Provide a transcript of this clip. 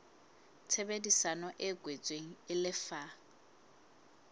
tshebedisano e kwetsweng e lefa